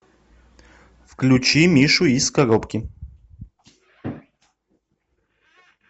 включи мишу из коробки